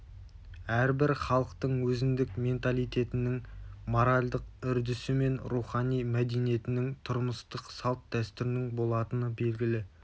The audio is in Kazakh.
әрбір халықтың өзіндік менталитетінің моралдық үрдісі мен рухани мәдениетінің тұрмыстық салт-дәстүрінің болатыны белгілі